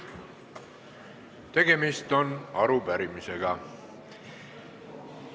Tegemist on arupärimisega.